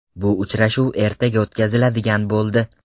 Bu uchrashuv ertaga o‘tkaziladigan bo‘ldi.